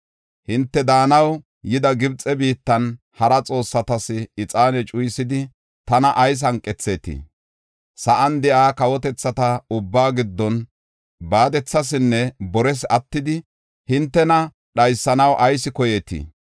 Hinte daanaw yida Gibxe biittan hara xoossatas ixaane cuyisidi tana ayis hanqethetii? Sa7an de7iya kawotethata ubbaa giddon baadethasinne bores attidi, hintena dhaysanaw ayis koyeetii?